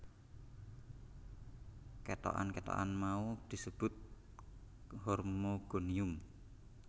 Kethokan kethokan mau disebut hormogonium